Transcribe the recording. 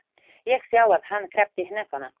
Ég sá að hann kreppti hnefana.